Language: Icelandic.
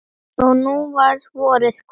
Og nú var vorið komið.